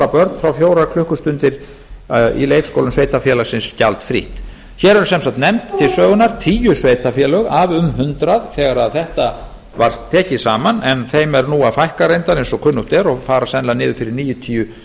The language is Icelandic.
börn fá fjórar klukkustundir dvöl í leikskólum sveitarfélagsins gjaldfrítt hér eru sem sagt nefnd til sögunnar tíu sveitarfélög af um hundrað þegar þetta var tekið saman en þeim er nú að fækka reyndar eins og kunnugt er og fara sennilega niður fyrir níutíu